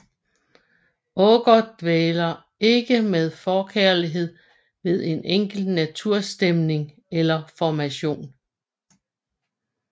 Aagaard dvæler ikke med forkærlighed ved en enkelt naturstemning eller formation